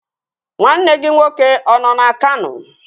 Nwanne gị nwoke ọ nọ na Kano?